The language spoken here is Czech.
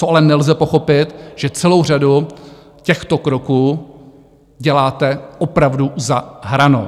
Co ale nelze pochopit, že celou řadu těchto kroků děláte opravdu za hranou.